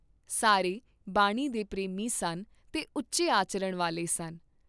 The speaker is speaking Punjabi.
ਸਾਰੇ ਬਾਣੀ ਦੇ ਪ੍ਰੇਮੀ ਸਨ ਤੇ ਉਚੇ ਆਚਰਨ ਵਾਲੇ ਸਨ।